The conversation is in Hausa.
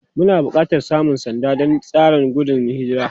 Muna buƙatar samun sanda don tseren gudun hijira.